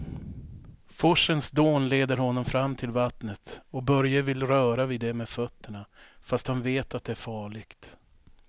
Forsens dån leder honom fram till vattnet och Börje vill röra vid det med fötterna, fast han vet att det är farligt.